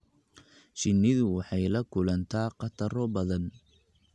Shinnidu waxay la kulantaa khataro badan.